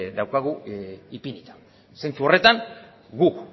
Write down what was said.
daukagu ipinita zentzu horretan guk